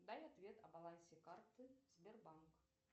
дай ответ о балансе карты сбербанк